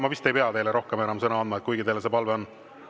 Ma vist ei pea teile rohkem enam sõna andma, kuigi teil see palve on.